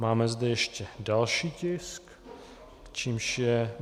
Máme zde ještě další tisk, kterým je